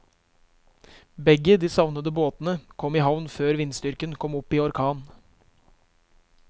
Begge de savnede båtene kom i havn før vindstyrken kom opp i orkan.